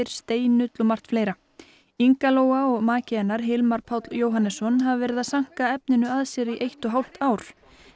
steinull Inga Lóa og maki hennar Hilmar Páll Jóhannesson hafa verið að sanka efninu að sér í eitt og hálft ár